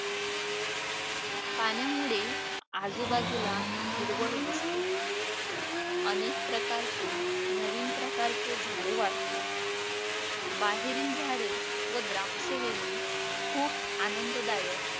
पाण्यामुळे आजूबाजूला हिरवळ दिसते. अनेक प्रकारचे नवीन प्रकारचे झाडे वाढतात. बाहेरील झाडे व द्राक्षवेली खूप आनंददायक